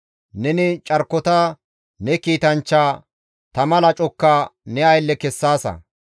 Neni carkota ne kiitanchcha, tama lacokka ne aylle kessaasa.